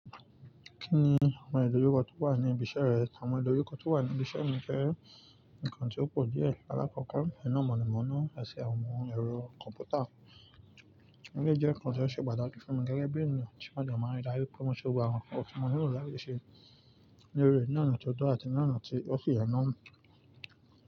Kí ni àwọn ìdojukọ̀ tó wà ní ibi iṣẹ́ rẹ? Àwọn ìdojukọ̀ tó wà ní ibi iṣẹ́ mi jẹ́ ǹkan tí ó pọ̀ díẹ̀. Alákọ̀ọ́kọ́, iná mọ̀nàmọ́ná àti àwọn ẹro kọ̀ǹpútà. Ó jẹ́ jẹ́ǹkan tó ṣe pàtàkì fún mi gẹ́gẹ́ bí ènìyàn tí màá jẹ́ máa ń darí pé mo ṣe òwúrọ̀ àwọn ọ̀túnmọ̀ míì rí láti ṣe eré ní ọ̀nà tó tọ́ àti ní ọ̀nà tí ó sì ye náà mú.